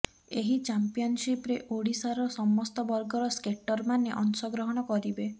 ଏହି ଚମ୍ପିୟଆନସିପରେ ଓଡ଼ିଶାର ସସସ୍ତ ବର୍ଗର ସ୍କେଟର ମାନେ ଅଂଶ ଗ୍ରହଣ କରିବେ